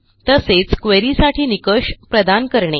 तसेच queryसाठी निकष प्रदान करणे